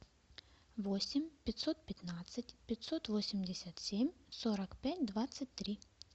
восемь пятьсот пятнадцать пятьсот восемьдесят семь сорок пять двадцать три